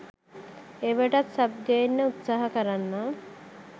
ඒවටත් sub ගේන්න උත්සාහ කරන්නම්.